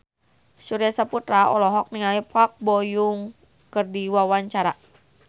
Surya Saputra olohok ningali Park Bo Yung keur diwawancara